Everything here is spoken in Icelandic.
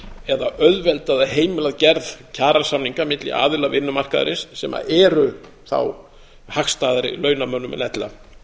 eða auðvelda eða heimila gerð kjarasamninga milli aðila vinnumarkaðarins sem eru þá hagstæðari launamönnum en ella